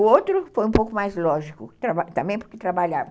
O outro foi um pouco mais lógico, também porque trabalhava.